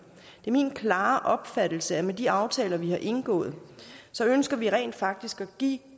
det er min klare opfattelse at med de aftaler vi har indgået ønsker vi rent faktisk at give